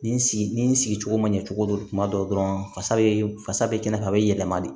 Nin sigi ni sigicogo ma ɲɛ cogo di kuma dɔw dɔrɔn fasa be fasa bɛ kɛnɛ kan a be yɛlɛma de